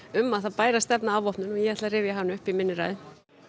um að það bæri að stefna að afvopnun og ég ætla að rifja hana upp í minni ræðu